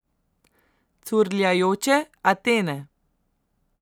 Curljajoče Atene.